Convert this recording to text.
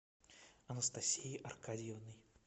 анастасией аркадьевной